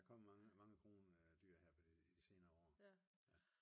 Der kom mange mange krondyr her på i det senere år